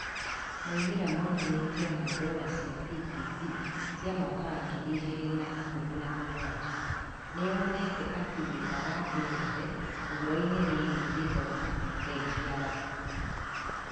Moimĩrĩra monanĩtio na dora cia PPP cia mwaka wa ngiri igĩri na ikũmi na mũgwanja. Nĩ yonete atĩ wĩra wa thĩ yothe ũhoro-inĩ wĩgiĩ gĩthomo, Bengi ya Thĩ.